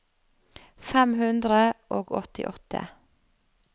fem hundre og åttiåtte